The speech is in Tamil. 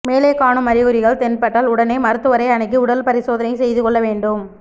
மேலே காணும் அறிகுறிகள் தென்பட்டால் உடனே மருத்துவரை அணுகி உடல் பரிசோதனை செய்துகொள்ள வேண்டும்